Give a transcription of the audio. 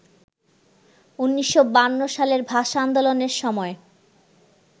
১৯৫২ সালের ভাষা আন্দোলনের সময়